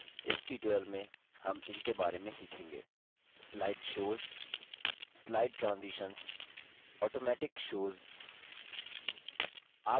इस tutorial में हम in बारे में सीखेंगेः slide shows slide shows slide transitions slide transitions automatic shows automatic shows